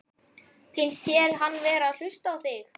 Finnst þér hann vera að hlusta á þig?